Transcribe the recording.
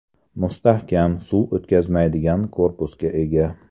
Mustahkam, suv o‘tkazmaydigan korpusga ega.